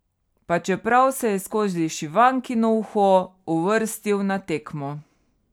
Pa čeprav se je skozi šivankino uho uvrstil na tekmo.